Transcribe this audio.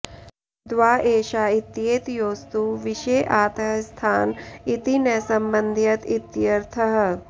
द्वा एषा इत्येतयोस्तु विषये आतः स्थान इति न संबध्यत इत्यर्थः